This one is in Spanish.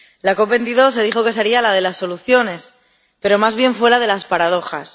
La COP22 se dijo que sería la de las soluciones, pero más bien fue la de las paradojas.